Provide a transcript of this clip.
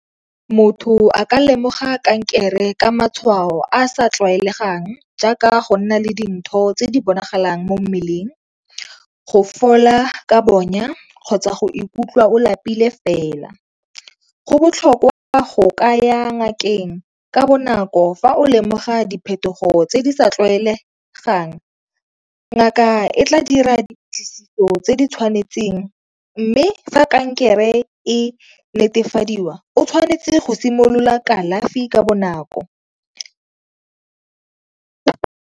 Motho a ka lemoga kankere ka matshwao a sa tlwaelegang jaaka go nna le dintho tse di bonagalang mo mmeleng, go fola ka bonya, kgotsa go ikutlwa o lapile fela. Go botlhokwa go kaya ngakeng ka bonako fa o lemoga diphetogo tse di sa tlwaelegang, ngaka e tla dira diplatlisiso tse tse di tshwanetseng mme fa kankere e netefadiwa o tshwanetse go simolola kalafi ka bonako.